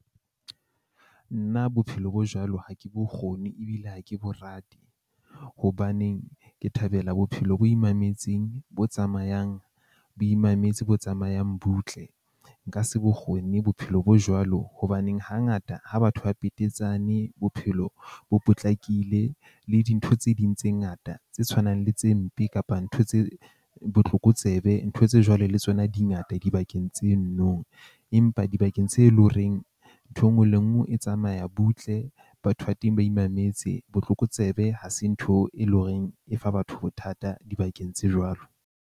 Nna bophelo bo jwalo, ha ke bokgoni ebile ha ke bo rate. Hobaneng ke thabela bophelo bo imametseng, bo tsamayang bo imametse bo tsamayang butle. Nka se bokgoni bophelo bo jwalo, hobaneng hangata ha batho ba petetsane bophelo bo potlakile le dintho tse ding tse ngata tse tshwanang le tse mpe kapa ntho tse botlokotsebe, ntho tse jwalo le tsona di ngata dibakeng tse nno. Empa dibakeng tse leng horeng ntho e nngwe le e nngwe e tsamaya butle. Batho ba teng ba imametse botlokotsebe ha se ntho e leng horeng e fa batho bothata dibakeng tse jwalo.